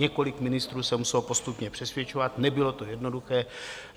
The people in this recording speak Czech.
Několik ministrů se muselo postupně přesvědčovat, nebylo to jednoduché.